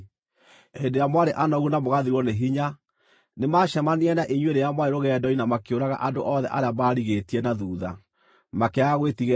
Hĩndĩ ĩrĩa mwarĩ anogu na mũgathirwo nĩ hinya, nĩmacemanirie na inyuĩ rĩrĩa mwarĩ rũgendo-inĩ na makĩũraga andũ othe arĩa maarigĩtie na thuutha; makĩaga gwĩtigĩra Ngai.